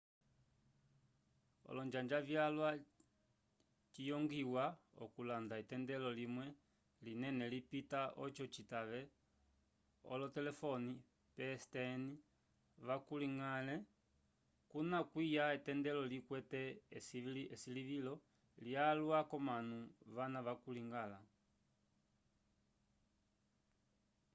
olonjanja vyalwa ciyongwiwa okulanda etendelo limwe linene lilitipa oco citave olotolelefone pstn vakuligale kuna kwiya etendelo likwete esilivilo lyalwa k'omanu vana vakuligala